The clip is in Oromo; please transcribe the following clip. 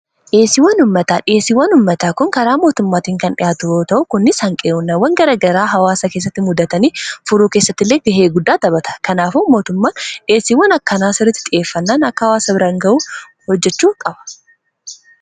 dhieesiiwwan ummataa dhieesiiwwan ummataa kun karaa mootummaatiin kan dhihaatu ta'u kunni hanqewunawwan garagaraa hawaasaa keessatti muddatanii furuu keessatti illee bihee guddaa tabata kanaafu mootummaan dheesiiwwan akkanaa siritti xi'eeffannaan akka hawaasa biran ga'uu hojjechuu qaba